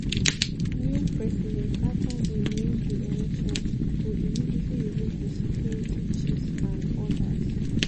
new president afta im win di elections go immediately remove di security chiefs and odas.